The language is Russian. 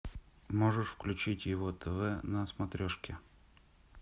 можешь включить его тв на смотрешке